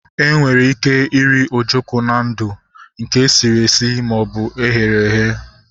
Enwere ike iri ojoko na ndụ, nke sịrị esi maọbụ eghere eghe